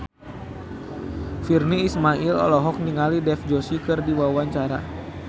Virnie Ismail olohok ningali Dev Joshi keur diwawancara